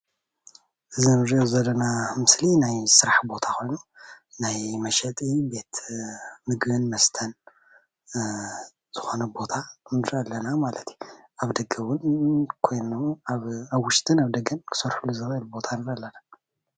እዛ እንሪኦ ዘለና ሞስሊ ናይ ስራሕ ቦታ ኮይኑ ናይ መሸጢ ምግብን መሦተን ዝኾነ ንርኢ ኣለና ማለት እዩ። ኣብ ደገ ውን ኾይኑ ኣብ ደገን ኣብ ውሽጥን ክስርሕሉ ዝኽእል ቦታ ንርኢ ኣለና።